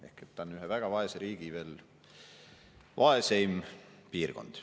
Ehk ta on ühe väga vaese riigi vaeseim piirkond.